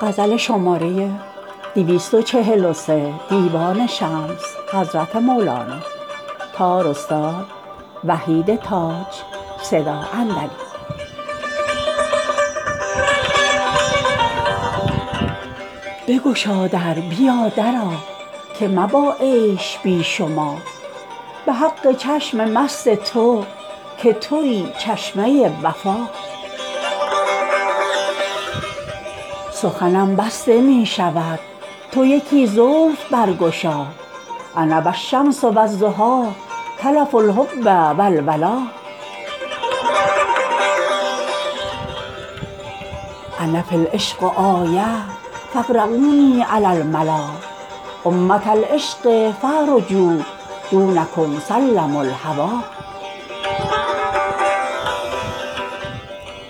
بگشا در بیا درآ که مبا عیش بی شما به حق چشم مست تو که توی چشمه وفا سخنم بسته می شود تو یکی زلف برگشا انا و الشمس و الضحی تلف الحب و الولا انا فی العشق آیه فاقرونی علی الملا امه العشق فاعرجوا دونکم سلم الهوی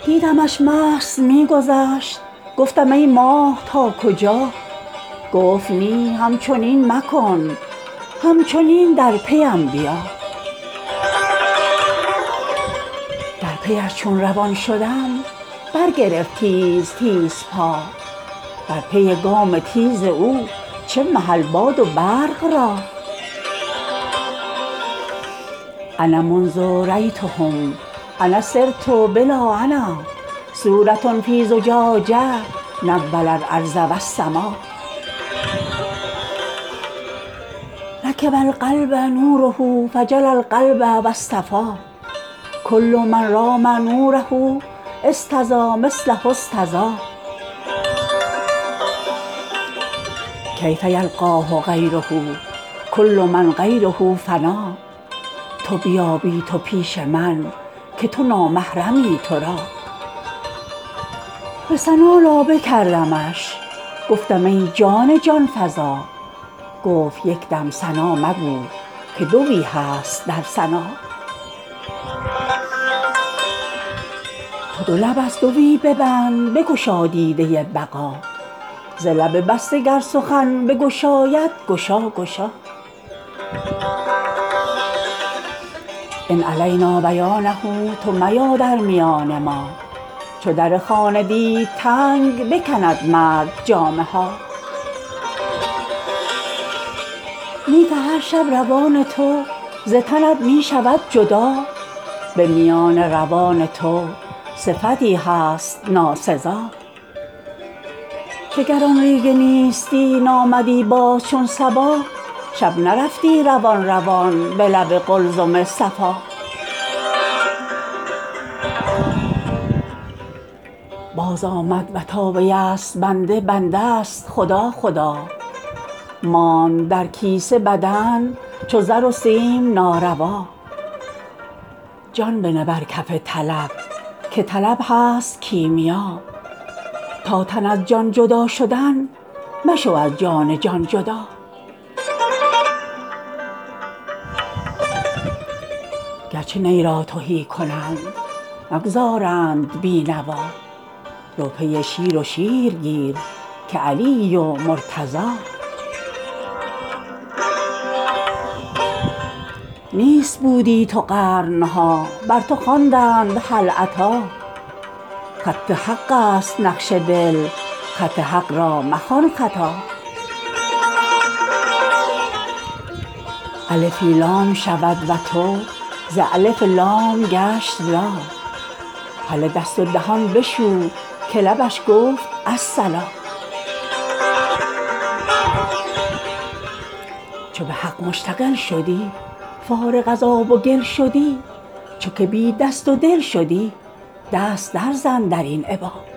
دیدمش مست می گذشت گفتم ای ماه تا کجا گفت نی همچنین مکن همچنین در پی م بیا در پی ش چون روان شدم دور شد تیز تیزپا در پی گام تیز او چه محل باد و برق را انا منذ رایتهم انا صرت بلا انا صوره فی زجاجه نور الارض و السما رکب القلب نوره فجلی القلب و اصطفی کل من رام نوره استضا مثله استضا کیف یلقاه غیره کل من غیر فنا تو بیا بی تو پیش من که تو نامحرمی تو را به ثنا لابه کردمش گفتم ای جان جان فزا گفت یک دم ثنا مگو که دوی هست در ثنا تو دو لب از دوی ببند بگشا دیده بقا ز لب بسته گر سخن بگشاید گشا گشا ان علینا بیانه تو میا در میان ما چو در خانه دید تنگ بکند مرد جامه ها نی که هر شب روان تو ز تنت می شود جدا به میان روان تو صفتی هست ناسزا که گر آن ریگ نیستی نامدی باز چون صبا شب نرفتی دوان دوان به لب قلزم صفا بازآمد و تا ویست بنده بنده ست خدا خدا ماند در کیسه بدن چو زر و سیم ناروا جان بنه بر کف طلب که طلب هست کیمیا تا تن از جان جدا شدن مشو از جان جان جدا گرچه نی را تهی کنند نگذارند بی نوا رو پی شیر و شیر گیر که علی یی و مرتضی نیست بودی تو قرن ها بر تو خواندند هل اتی خط حق است نقش دل خط حق را مخوان خطا الفی لا شود و تو ز الف لام گشت لا هله دست و دهان بشو که لبش گفت الصلا چو به حق مشتغل شدی فارغ از آب و گل شدی چو که بی دست و دل شدی دست درزن در این ابا